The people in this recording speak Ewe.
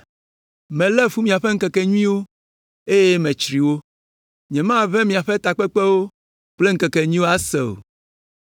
“Melé fu miaƒe ŋkekenyuiwo, eye metsri wo. Nyemaʋẽ miaƒe takpekpewo kple ŋkekenyuiwo ase o.